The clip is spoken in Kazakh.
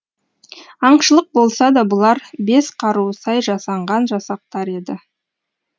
аңшылық болса да бұлар бес қаруы сай жасанған жасақтар еді